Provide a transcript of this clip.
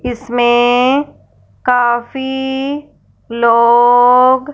इसमें काफ़ी लोग--